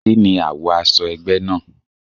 Kíni àwo aṣọ egbe náà?